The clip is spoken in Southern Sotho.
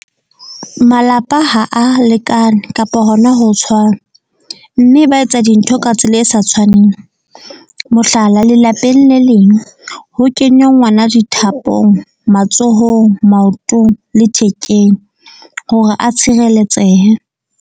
Malapa ha a lekane kapa hona ho tshwana, mme ba etsa dintho ka tsela e sa tshwaneng. Mohlala, lelapeng le leng ho kenywa ngwana dithapong matsohong, maotong le thekeng hore a tshireletsehe.